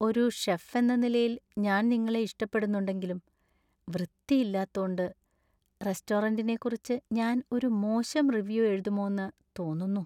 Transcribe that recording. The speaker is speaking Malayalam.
ഒരു ഷെഫ് എന്ന നിലയിൽ ഞാൻ നിങ്ങളെ ഇഷ്ടപ്പെടുന്നുണ്ടെങ്കിലും, വൃത്തി ഇല്ലാത്തോണ്ട് റെസ്റ്റോറന്റിനെക്കുറിച്ച് ഞാൻ ഒരു മോശം റിവ്യൂ എഴുതുമോന്ന് തോന്നുന്നു.